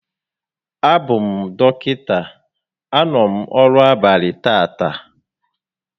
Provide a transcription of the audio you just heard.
A bụ m dọkịta, a nọ m ọrụ abalị tata